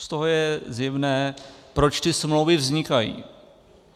Z toho je zjevné, proč ty smlouvy vznikají.